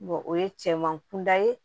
o ye cɛman kunda ye